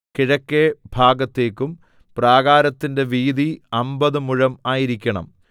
കിഴക്കെ ഭാഗത്തേക്കും പ്രാകാരത്തിന്റെ വീതി അമ്പത് മുഴം ആയിരിക്കണം